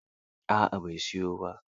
A'a, bai siyo ba